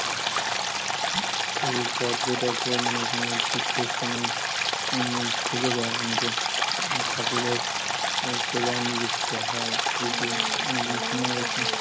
পর্যটকরা অনেকে এই তীর্থস্থানে থেকে যায় অনেকে, ঠাকুরের সেবায় নিযুক্ত হয়. এখানে ভ্রমনে এসে